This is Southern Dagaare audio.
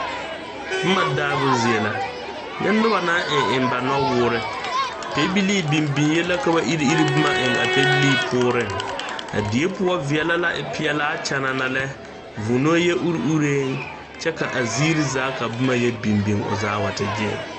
Bomma daabo zie la nyɛ noba naŋ aŋ eŋ ba nuwoore pɛbilee biŋ biŋyee la ka ba ire ire bomma eŋ a pɛbilee poɔrreŋ a die poɔ veɛlɛ e peɛlaa kyanana lɛ vūūnoo yɛ ure ureeŋ kyɛ ka zeere zaa ka bomma yɛ biŋ biŋ o zaa wa te gyeere.